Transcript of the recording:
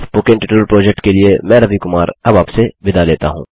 spoken tutorial project के लिए मैं रवि कुमार अब आपसे विदा लेता हूँ